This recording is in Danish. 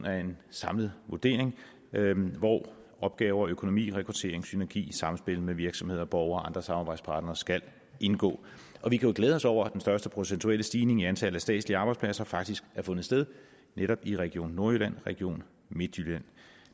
af en samlet vurdering hvor opgaver økonomi rekruttering og synergi i samspil med virksomheder og borgere og andre samarbejdspartnere skal indgå vi kan jo glæde os over at den største procentuelle stigning i antallet af statslige arbejdspladser faktisk har fundet sted netop i region nordjylland og region midtjylland